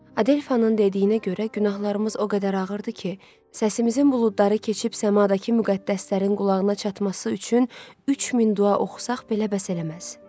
Adelfanın dediyinə görə, günahlarımız o qədər ağırdır ki, səsimizin buludları keçib səmadakı müqəddəslərin qulağına çatması üçün 3000 dua oxusaq belə bəs eləməz.